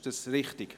Ist dies richtig?